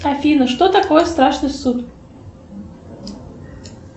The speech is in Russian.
афина что такое страшный суд